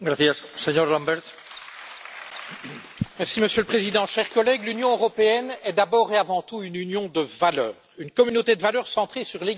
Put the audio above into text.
Monsieur le Président, chers collègues, l'Union européenne est d'abord et avant tout une union de valeurs, une communauté de valeurs centrée sur l'égale dignité de chaque personne humaine.